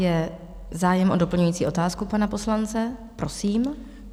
Je zájem o doplňující otázku pana poslance, prosím.